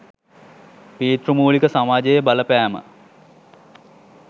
පීතෘමූලික සමාජයේ බලපෑම